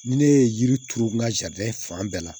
Ni ne ye yiri turu n ka fan bɛɛ la